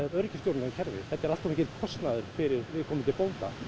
öryggisstjórnunarkerfi þetta er allt of mikill kostnaður fyrir viðkomandi bónda